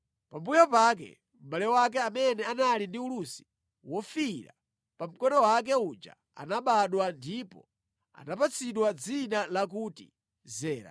Pambuyo pake mʼbale wake amene anali ndi ulusi wofiira pa mkono wake uja anabadwa ndipo anapatsidwa dzina lakuti Zera.